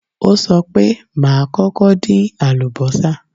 Ó sọ pé, màá kọ́kọ́ dín àlùbọ́sà